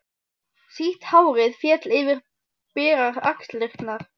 Sítt hárið féll yfir berar axlirnar.